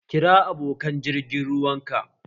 Kiran abokan jirgin ruwan ka!